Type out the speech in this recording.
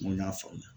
Mun y'a faamuya